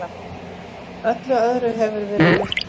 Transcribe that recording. Öllu öðru hefur verið rutt burt.